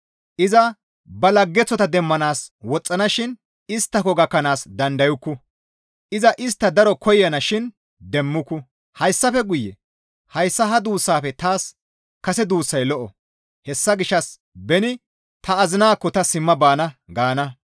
Iza ba laggeththota demmanaas woxxana shin isttako gakkanaas dandayukku. Iza istta daro koyana shin demmuku; hayssafe guye, ‹Hayssa ha duussafe taas kase duussay lo7o; hessa gishshas beni ta azinaakko ta simma baana› gaana.